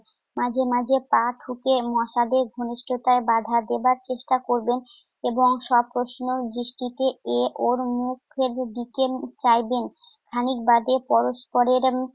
মাঝে মাঝে পা ঠুকে মশাদের ঘনিষ্ঠতায় বাধা দেবার চেষ্টা করবেন এবং সপ্রশ্নক দৃষ্টিতে এ ও মুখের দিকে চাইবেন। খানিক বাদে পরস্পরের